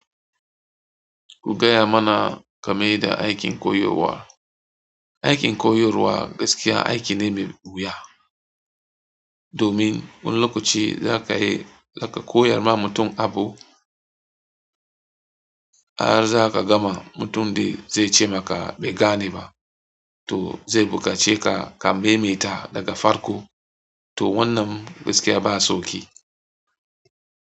Ku gaya mana game da aikin koyowa. Aikin koyarwa gaskiya aiki ne mai wuya. Domin wanni lokaci za ka yi, za ka koyar ma mutum abu. Har zaka gama mutum dai zai ce maka, "Bai gane ba". To zai bukace ka ka maimaita daga farko. To wannan gaskiya ba sauƙi.